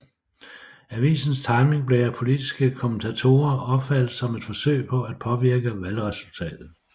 Avisens timing blev af politiske kommentatorer opfattet som et forsøg på at påvirke valgresultatet